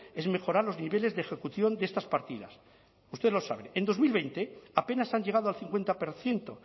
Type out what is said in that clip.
es mejorar los niveles de ejecución de estas partidas usted lo sabe en dos mil veinte apenas han llegado al cincuenta por ciento